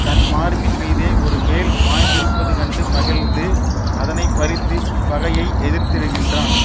தன் மார்பின்மீதே ஒரு வேல் பாய்ந்திருப்பது கண்டு மகிழ்ந்து அதனை பறித்து பகையை எதிர்த்திடுகின்றான்